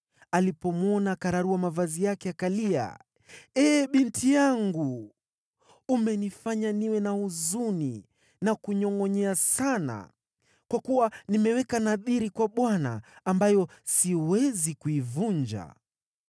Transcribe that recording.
Alipomwona akararua mavazi yake akalia, “Ee! Binti yangu! Umenifanya niwe na huzuni na kunyongʼonyea sana, kwa kuwa nimeweka nadhiri kwa Bwana , ambayo siwezi kuivunja.”